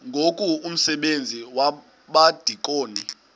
ngoku umsebenzi wabadikoni